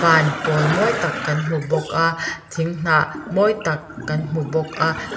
pawl mawi tak kan hmu bawk a thing hnah mawi tak kan hmu bawk a.